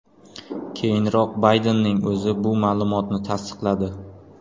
Keyinroq Baydenning o‘zi bu ma’lumotni tasdiqladi.